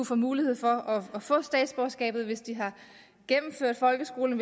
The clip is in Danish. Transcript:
få mulighed for at få statsborgerskabet hvis de har gennemført folkeskolen